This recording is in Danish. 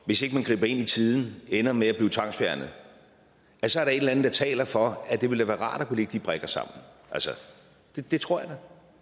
hvis ikke man greb ind i tide ville ende med at blive tvangsfjernet så er der et eller andet der taler for at det ville være rart at kunne lægge de brikker sammen altså det tror